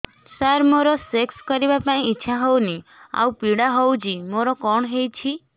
ସାର ମୋର ସେକ୍ସ କରିବା ପାଇଁ ଇଚ୍ଛା ହଉନି ଆଉ ପୀଡା ହଉଚି ମୋର କଣ ହେଇଛି